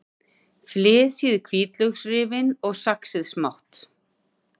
Flysjið hvítlauksrifin og saxið smátt.